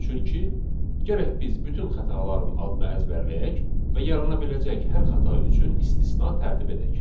Çünki gərək biz bütün xətaların adını əzbərləyək və yarana biləcək hər xəta üçün istisna tərtib edək.